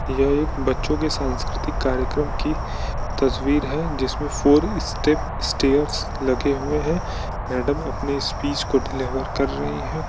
बच्चों के सांस्कृतिक कार्यक्रम की तस्वीर है जिसमें फोर स्टेप स्टेर्स लगे हुए हैं मैडम अपनी स्पीच को डिलिवर कर रही है।